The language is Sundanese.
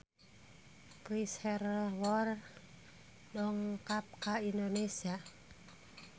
Chris Hemsworth dongkap ka Indonesia